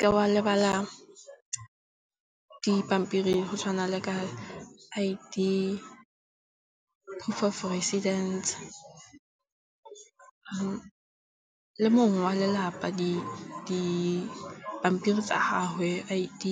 Ke wa lebala dipampiri go tshwana le ka I_D, proof of residence le mongwe wa lelapa dipampiri tsa gagwe, I_D